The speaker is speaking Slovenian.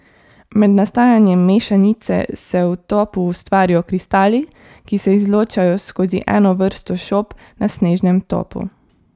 Med nastajanjem mešanice se v topu ustvarijo kristali, ki se izločajo skozi eno vrsto šob na snežnem topu.